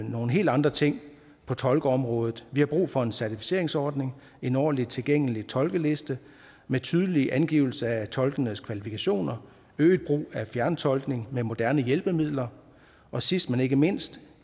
nogle helt andre ting på tolkeområdet vi har brug for en certificeringsordning en ordentlig tilgængelig tolkeliste med tydelige angivelser af tolkenes kvalifikationer øget brug af fjerntolkning med moderne hjælpemidler og sidst men ikke mindst